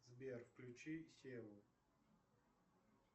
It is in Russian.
сбер включи сену